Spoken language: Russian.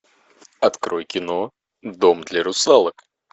открой кино дом для русалок